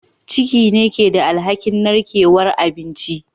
Ciki ne ke da alhakin narkewar abinci